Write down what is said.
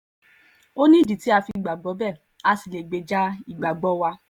ó nídìí tá a fi gbàgbọ́ bẹ́ẹ̀ a sì lè gbèjà ìgbàgbọ́ wa